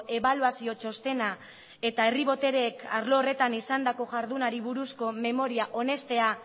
ebaluazio txostena eta herri botereek arlo horretan izandako jardunari buruzko memoria onestea